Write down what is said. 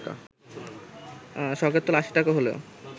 শখের তোলা আশি টাকা হলেও